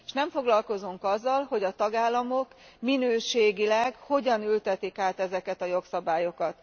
S nem foglalkozunk azzal, hogy a tagállamok minőségileg hogyan ültetik át ezeket a jogszabályokat.